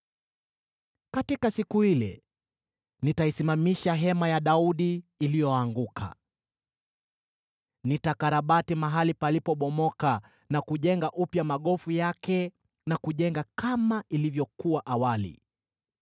“Katika siku ile nitaisimamisha hema ya Daudi iliyoanguka. Nitakarabati mahali palipobomoka na kujenga upya magofu yake, na kuijenga kama ilivyokuwa awali,